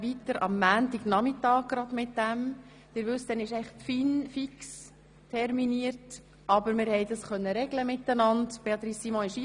Eigentlich wäre dann die FIN fix terminiert, aber ich konnte dies mit Regierungsrätin Simon regeln.